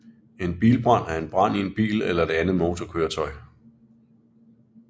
En bilbrand er en brand i en bil eller andet motorkøretøj